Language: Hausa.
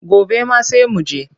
Gobe ma sai mu je.